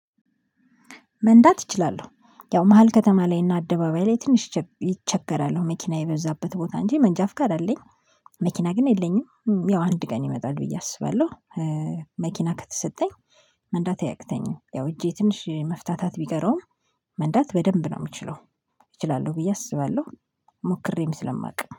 መንዳት እችላለሁ ያው መሃል ከተማ ላይ እና አደባባይ ላይ ትንሽ እቸገራለሁ መኪና የበዛበት ቦታ እንጂ መንጃ ፍቃድ አለኝ። መኪና ግን የለኝም። ያው አንድ ቀን ይመጣል ብዬ አስባለሁ። መኪና ከተሰጠኝ። መንዳት አያቅተኝም ያው እጄ ትንሽ መፍታታት ቢቀረውም። መንዳት በደንብ ነው የምችለው። እችላለሁ ብዬ አስባለሁ ሞክሬም ስለማውቅ